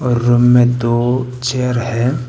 Room में दो chair हैं।